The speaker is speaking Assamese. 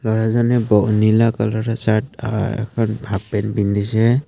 ল'ৰাজনে ব নীলা কালাৰৰ চাৰ্ট হাফ পেন্ট পিন্ধিছে।